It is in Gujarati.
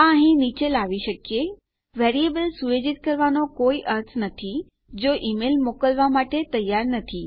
આ અહીં નીચે લાવી શકીએ વેરીએબલ સુયોજિત કરવાનો કોઈ અર્થ નથી જો ઈમેલ મોકલવાં માટે તૈયાર નથી